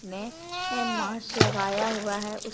उसने मास्क लगाया हुआ है उस --